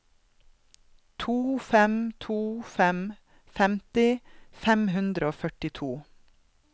to fem to fem femti fem hundre og førtito